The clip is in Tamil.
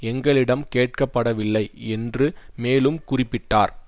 எங்களிடம் கேட்கப்படவில்லை என்று மேலும் குறிப்பிட்டார்